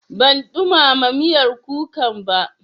Ban ɗumama miyar kukan ba.